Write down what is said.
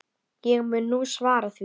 Ég mun nú svara því.